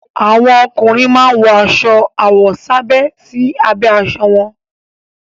Àwọn ọkùnrin máa ń wọ aṣọ àwọ̀sábẹ́ sí abẹ́ aṣọ wọn.